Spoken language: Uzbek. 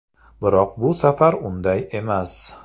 Biroq bu safar unday emas.